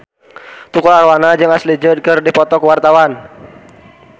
Tukul Arwana jeung Ashley Judd keur dipoto ku wartawan